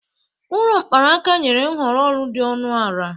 Ụlọ mkpanaka nyere nhọrọ ụlọ dị ọnụ ala.